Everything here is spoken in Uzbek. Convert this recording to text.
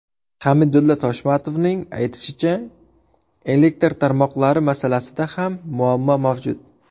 Hamidulla Toshmatovning aytishicha, elektr tarmoqlari masalasida ham muammo mavjud.